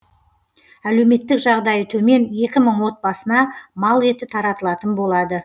әлеуметтік жағдайы төмен екі мың отбасына мал еті таратылатын болады